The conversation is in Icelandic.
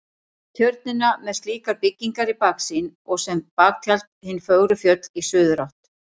Tjörnina með slíkar byggingar í baksýn og sem baktjald hin fögru fjöll í suðurátt.